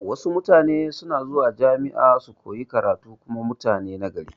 Wasu na zuwa jami'a don su koyi karatu kuma mutani na gari